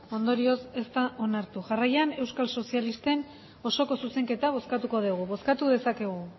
ondorioz ez da onartu jarraian euskal sozialisten osoko zuzenketa bozkatuko degu bozkatu dezakegu